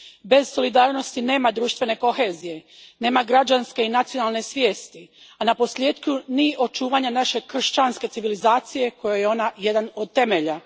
Bez solidarnosti nema društvene kohezije, nema građanske i nacionalne svijesti, a na posljetku ni očuvanja naše kršćanske civilizacije kojoj je ona jedan od temelja.